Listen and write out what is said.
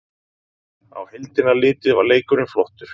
Á heildina litið var leikurinn flottur